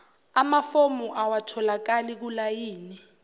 amafomu awatholakali kulayini